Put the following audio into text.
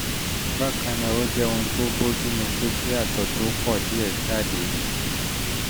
bákan náà ó jẹ́ ohun tó bójúmu pé kí àtọ̀ tó pọ̀ díẹ̀ jáde